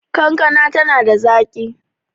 kankana tana da zaki